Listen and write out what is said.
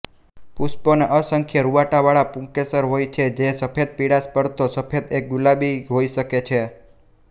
પુષ્પોને અસંખ્ય રુંવાટીવાળા પુંકેસર હોય છે જે સફેદપીળાશ પડતો સફેદ એક ગુલાબી હોઈ શકે છે